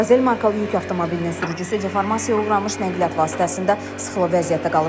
Qazel markalı yük avtomobilinin sürücüsü deformasiyaya uğramış nəqliyyat vasitəsində sıxılı vəziyyətdə qalıb.